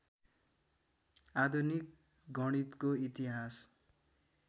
आधुनिक गणितको इतिहास